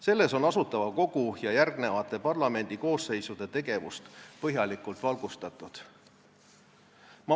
Selles on Asutava Kogu ja järgmiste parlamendikoosseisude tegevust põhjalikult valgustatud.